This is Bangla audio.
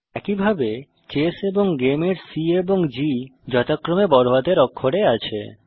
একইভাবে চেস এবং গেম এর C এবং G যথাক্রমে বড়হাতের অক্ষরে আছে